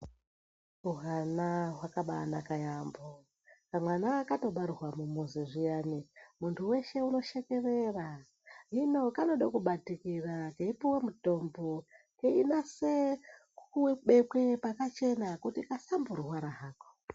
Hwana hwakabanaka yambo, kamwana katobarwa mumuzi zviyani muntu weshe unoshekerera hino kanode kubatikira keipuwe mutombo keinase kubekwe pakachena kuti kasamborwara hako.